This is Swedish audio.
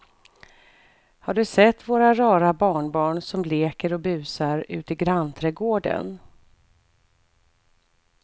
Har du sett våra rara barnbarn som leker och busar ute i grannträdgården!